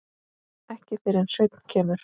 Ekki fyrr en Svenni kemur.